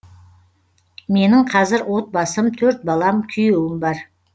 менің қазір отбасым төрт балам күйеуім бар